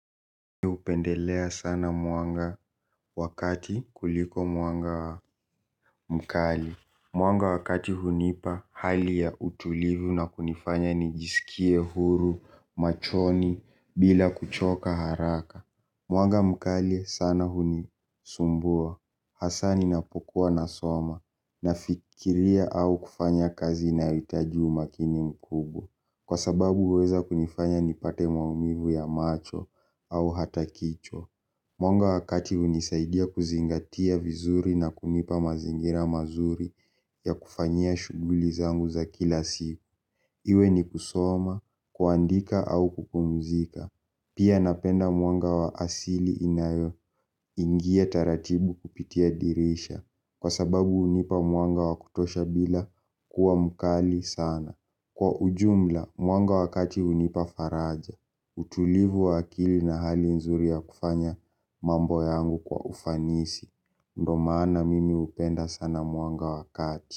Hupendelea sana mwanga wa kati kuliko mwanga mkali mwanga wa kati hunipa hali ya utulivu na kunifanya ni jisikie huru, machoni, bila kuchoka haraka. Mwanga mkali sana hunisumbua hasa ninapo kuwa nasoma nafikiria au kufanya kazi inayohitaji umakini mkubwa kwa sababu waaweza nifanya nipate maumivu ya macho au hata kichwa. Mwanga wa kati hunisaidia kuzingatia vizuri na kunipa mazingira mazuri ya kufanyia shughuli zangu za kila siku. Iwe ni kusoma, kuandika au kupumzika. Pia napenda mwanga wa asili inayoingia taratibu kupitia dirisha. Kwa sababu hunipa mwanga wa kutosha bila kuwa mkali sana. Kwa ujumla, mwanga wakati unipa faraja. Utulivu wa akili na hali nzuri ya kufanya mambo yangu kwa ufanisi ndio maana mimi hupenda sana mwanga wa kati.